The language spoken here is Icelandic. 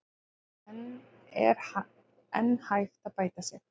En er enn hægt að bæta sig?